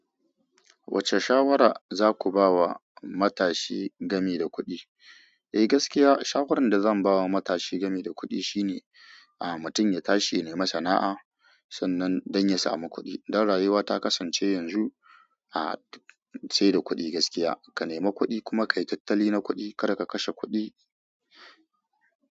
Wacce shawara za ku ba wa matashi gami da kuɗi? Eh gaskiya shawarar da zan ba wa matashi gami da kuɗi shine, aa mutum ya tashe ya nemi sana'a sannan don ya samu kuɗi. Dan rayuwa ta kasance yanzu, a ce da kuɗi gaskiya. Ka nema kuɗi kuma ka yi tattali na kuɗi, kada ka kashe kuɗi.